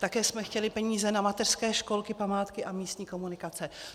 Také jsme chtěli peníze na mateřské školky, památky a místní komunikace.